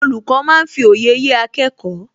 Olùkọ́ máa ń fi òye yé akẹ́kọ̀ọ́